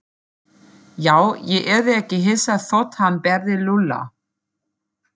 Já, ég yrði ekki hissa þótt hann berði Lúlla.